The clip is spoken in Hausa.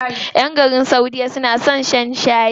ƴan garin saudiya na son shan shayi.